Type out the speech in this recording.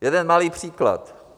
Jeden malý příklad.